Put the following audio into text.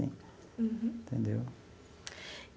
Entendeu?